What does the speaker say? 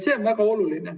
See on väga oluline.